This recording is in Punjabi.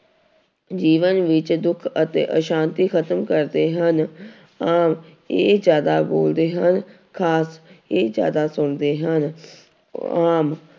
ਜੀਵਨ ਵਿੱਚ ਦੁੱਖ ਅਤੇ ਆਸ਼ਾਂਤੀ ਖ਼ਤਮ ਕਰਦੇ ਹਨ ਆਮ ਇਹ ਜ਼ਿਆਦਾ ਬੋਲਦੇ ਹਨ, ਖ਼ਾਸ ਇਹ ਜ਼ਿਆਦਾ ਸੁਣਦੇ ਹਨ ਆਮ